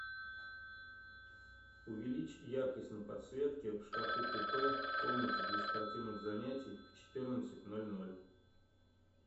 увеличь яркость на подсветке в шкафу купе в комнате для спортивных занятий в четырнадцать ноль ноль